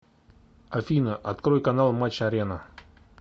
афина открой канал матч арена